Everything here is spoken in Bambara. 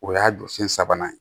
O y'a jɔ sen sabanan ye